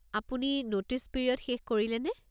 আপুনি notice period শেষ কৰিলেনে?